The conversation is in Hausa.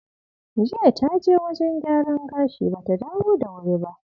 Jiya ta je wajen gyaran gashi ba ta dawo da wuri ba.